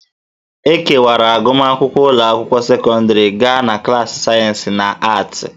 E kewara agụmakwụkwọ ụlọ akwụkwọ sekọndrị gaa na klaasị sayensị na aatị